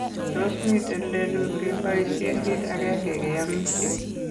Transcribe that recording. Tos miten lelut ngepoisien kiit agenge keyamishe?